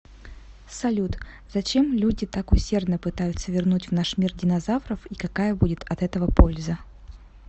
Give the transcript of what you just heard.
салют зачем люди так усердно пытаются вернуть в наш мир динозавров и какая будет от этого польза